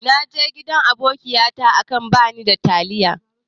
Naje gidan abokiyata aka bani taliya.